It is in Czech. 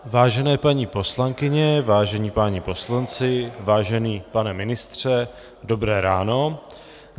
Vážené paní poslankyně, vážení páni poslanci, vážený pane ministře, dobré ráno.